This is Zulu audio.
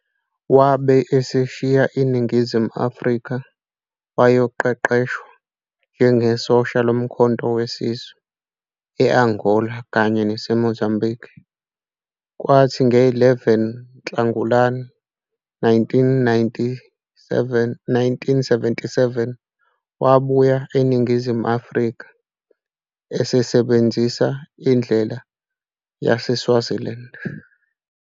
Wabe eseshiya iNingizimu Afrika wayoqeqeshwa njenge sosha lomkhonto weSizwe eAngola kanye nase Mozambikhi kwathi nge11 uNhlangulana 1977 wabuya eNingizimu Afrika esebenzisa indlela yaseSwaziland.